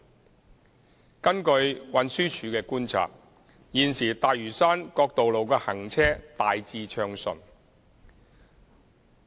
二及三根據運輸署觀察，現時大嶼山各道路的行車大致暢順。